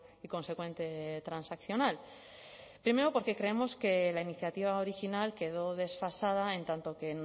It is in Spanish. y consecuente transaccional primero porque creemos que la iniciativa original quedó desfasada en tanto que